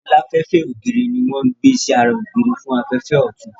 Aláfẹ́fẹ́ ògiri ní wọ́n ń gbé sí ara ògiri fún afẹ́fẹ́ ọ̀tun